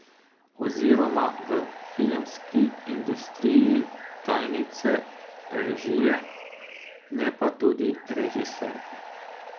Oziroma v filmski industriji tajnice režije, ne pa tudi režiserke.